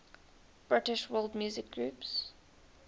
british world music groups